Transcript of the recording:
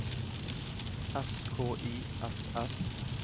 S K Y S S